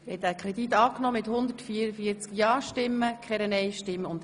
Sie haben den Kredit angenommen.